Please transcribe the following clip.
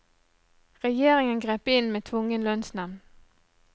Regjeringen grep inn med tvungen lønnsnevnd.